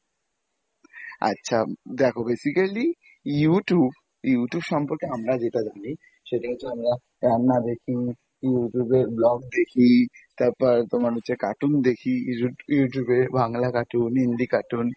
আচ্ছা দেখো basically Youtube Youtube সম্পর্কে আমরা যেটা জানি, সেটা হচ্ছে আমরা রান্না দেখি Youtube এ vlog দেখি, তারপর তোমার হচ্ছে cartoon দেখি Youtube এ বাংলা cartoon হিন্দি cartoon